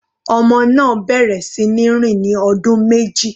Ọmọ náà bẹ̀rẹ̀ sí ní rìn ní ọdún méjì.